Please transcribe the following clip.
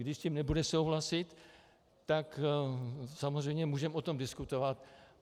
Když s tím nebude souhlasit, tak samozřejmě můžeme o tom diskutovat.